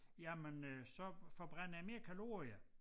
Jamen øh så forbrænder jeg mere kalorier